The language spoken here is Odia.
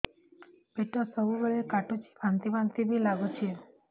ପେଟ ସବୁବେଳେ କାଟୁଚି ବାନ୍ତି ବାନ୍ତି ବି ଲାଗୁଛି